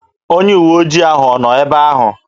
Onye uwe ojii ahụ ọ nọ ebe ahụ?